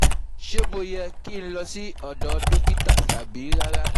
Ṣé mo yẹ ki n lọ sí ọdọ́ dokita tabi rara?